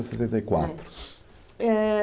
a sessenta e quatro. Ai, eh...